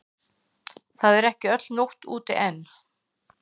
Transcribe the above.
Það er ekki öll nótt úti enn.